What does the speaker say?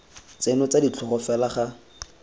tseno tsa ditlhogo fela ga